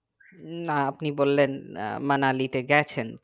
না আপনি বললেন আহ মানালিতে গেছেন তো